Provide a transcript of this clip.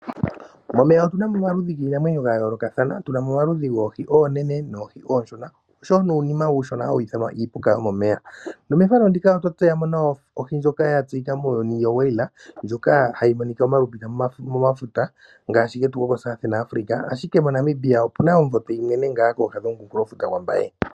Momeya otuna mo omaludhi giinamwenyo ga yooloka, tunamo omaludhi goohi oonene noohi oshona, nosho wo uunima uushona hawu ithanwa iipuka yomomeya, nomehala ndika otwa tseyamo ohi ndjoka yi shiwike muuyuni yo Whale, ndjoka hayi monika omalupita momafuta ngashi getu gokuumbangalantu waAfrica, ahike moNamibia opuna omumvo tweyi monene kooha dhokunkulofuta gwaMbaye.